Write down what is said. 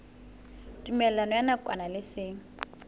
tumellano ya nakwana le seng